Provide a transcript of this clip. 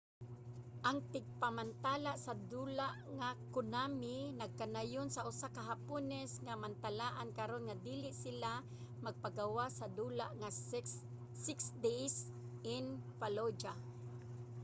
ang tigmantala sa dula nga konami nagkanayon sa usa ka hapones nga mantalaan karon nga dili sila magpagawas sa dula nga six days in fallujah